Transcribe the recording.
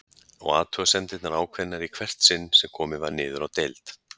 Og athugasemdirnar ákveðnari í hvert sinn sem komið var niður á deild.